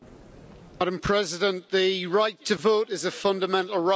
Madam President, the right to vote is a fundamental right.